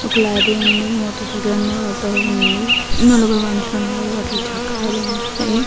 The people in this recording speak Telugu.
ఒక లారీ ఉంది మోటార్ సైకిల్ ఉంది ఆటో ఉంది. నలుగురు మనుషులు ఉన్నారు. వాటికి చక్రాలు ఉన్నాయి.